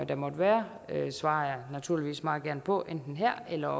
der måtte være svarer jeg naturligvis meget gerne på enten her eller